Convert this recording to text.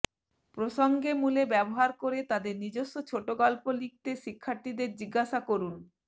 প্রসঙ্গে মূলে ব্যবহার করে তাদের নিজস্ব ছোট গল্প লিখতে শিক্ষার্থীদের জিজ্ঞাসা করুন